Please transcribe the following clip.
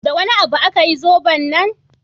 Da wani abu aka yi zoben nan?